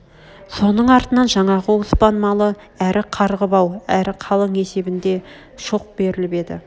соның артынан жаңағы оспан малы әр қарғы бау әр қалың есебнде шоқ берліп еді